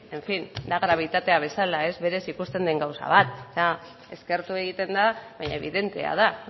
en fin da grabitatea bezala berez ikusten den gauza bat da eskertu egiten da baina ebidentea da